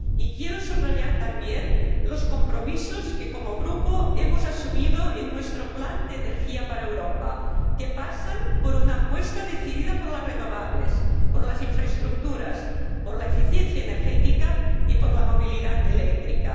Quiero subrayar también los compromisos que, como Grupo, hemos asumido en nuestro plan de energía para Europa, que pasan por una apuesta decida por las renovables, por las infraestructuras, por la eficiencia energética y por la movilidad eléctrica.